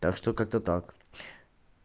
так что как-то так